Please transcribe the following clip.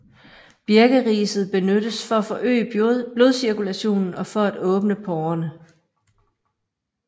Birkeriset benyttes for at forøge blodcirkulationen og for at åbne porrerne